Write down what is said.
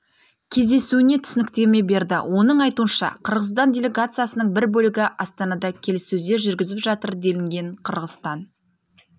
кездесуіне түсініктеме берді оның айтуынша қырғызстан делегациясының бір бөлігі астанада келіссөздер жүргізіп жатыр делінген қырғызстан